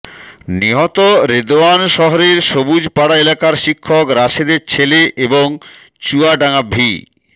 নিহত রেদোয়ান শহরের সবুজ পাড়া এলাকার শিক্ষক রাশেদের ছেলে এবং চুয়াডাঙ্গা ভি